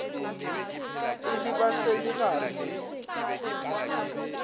ile ba sa le gare